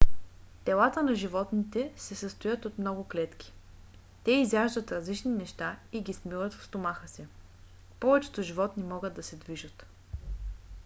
телата на животните се състоят от много клетки. те изяждат различни неща и ги смилат в стомаха си. повечето животни могат да се движат